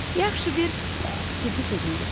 Yaxşı, bir ciddi sözümdür.